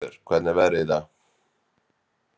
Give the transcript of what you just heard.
Hreggviður, hvernig er veðrið í dag?